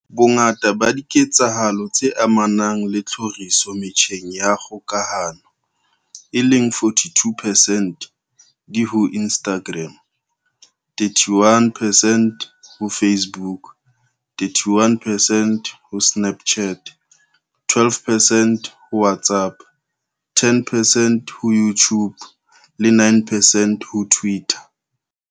Bongata ba diketsahalo tse amanang le tlhoriso metjheng ya kgokahano, e leng 42 percent, di ho Instagram, 31 percent ho Facebook, 31 percent ho Snapchat, 12 percent ho WhatsApp, 10 percent ho YouTube le 9 percent ho Twitter.